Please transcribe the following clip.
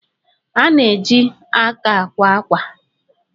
A na-eji aka àkwá ákwà.